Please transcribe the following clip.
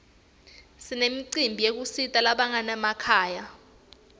sinemicimbi yekusita labanganamakhaya